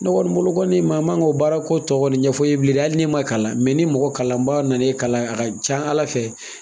N kɔni bolo kɔni maa ma ko baarako tɔ kɔni ɲɛf'a ye bilen dɛ hali ne ma kalan, ni mɔgɔ kalanbaa nana e kalan, a can Ala fɛ